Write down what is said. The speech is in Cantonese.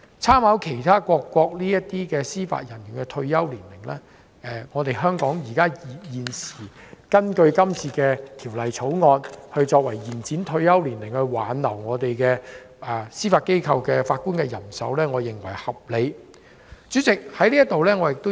參考其他各國司法人員的退休年齡，香港根據《條例草案》延展退休年齡，以挽留本港司法機構法官人手，我認為是合理的。